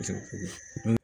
N ko